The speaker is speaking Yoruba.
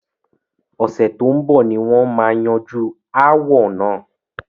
Ọ̀sẹ̀ tó ń bọ̀ ni wọn má yanjú ááwọ̀ náà.